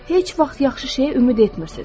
Heç vaxt yaxşı şeyə ümid etmirsiniz.